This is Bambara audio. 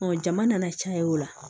jama nana caya o la